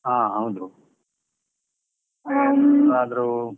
ಹಾ ಹೌದು. .